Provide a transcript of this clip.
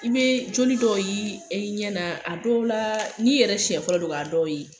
I bɛ joli dɔ ye i ɲɛna a dɔw la n'i yɛrɛ siɲɛ fɔlɔ don ka dɔw ye